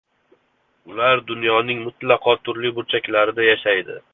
Ular dunyoning mutlaqo turli burchaklarida yashaydi.